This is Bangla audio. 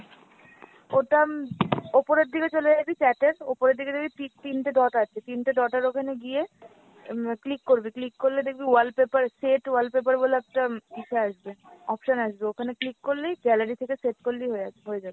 ওটা উপরের দিকে চলে যাবি chat এর উপরের দিকে দেখবি ঠিক তিনটা dot আছে, তিনটা dot এর ওখানে গিয়ে উম click করবি click করলে দেখবি wallpaper set wallpaper বলে একটা ইসে আসবে, option আসবে, ওখানে click করলেই gallery থেকে set করলেই হয়ে হয়ে যাবে।